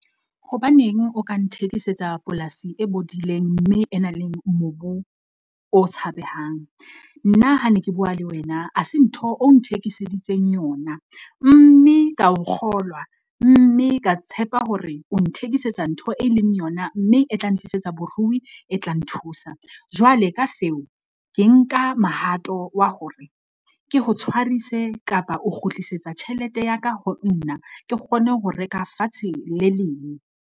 Hobaneng o ka nthekisetsang polasi e bodileng mme e nang le mobu o tshabehang. Nna ha ne ke bua le wena, ha se ntho o nthekiseditse yona, mme ka o kgolwa mme ka tshepa hore o nthekisetsang ntho e leng yona, mme e tla ntlisetsa borui, e tla nthusa. Jwale ka seo ke nka mahato wa hore ke ho tshwarise kapa o kgutlisetsa tjhelete ya ka, ho nna ke kgone ho reka fatshe le leng.